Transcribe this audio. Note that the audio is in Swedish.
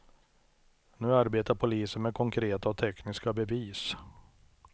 Nu arbetar polisen med konkreta och tekniska bevis.